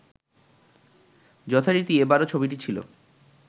যথারীতি এবারও ছবিটি ছিল